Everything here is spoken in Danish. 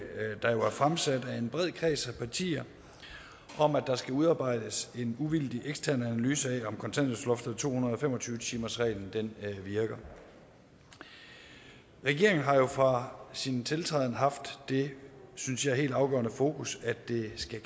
der jo er fremsat af en bred kreds af partier om at der skal udarbejdes en uvildig ekstern analyse af om kontanthjælpsloftet og to hundrede og fem og tyve timersreglen virker regeringen har jo fra sin tiltræden haft det synes jeg helt afgørende fokus at det skal